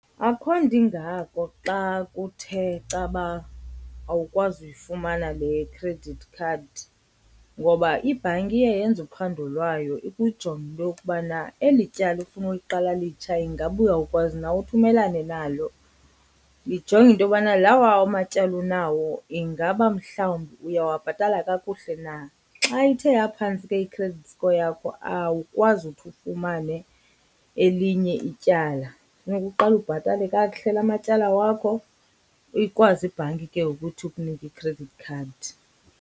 Akho nto ingako xa kuthe caba awukwazi uyifumana le credit card ngoba ibhanki iye yenze uphando lwayo ikujonge into yokubana eli tyala ufuna uliqala litsha ingaba uyawukwazi na uthi umelane nalo. Lijonge into yobana lawa amatyala unawo ingaba mhlawumbi uyawabhatala kakuhle na. Xa ithe yaphantsi ke i-credit score yakho awukwazi uthi ufumane elinye ityala, funeka uqale ubhatale kakuhle la matyala wakho ikwazi ibhanki ke ngoku ithi ikunike i-credit card.